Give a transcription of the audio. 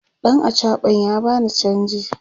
ɗan achaɓan ya bani chanji